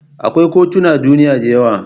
Akwai kotunan duniya da yawa.